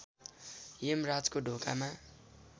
यमराजको ढोकामा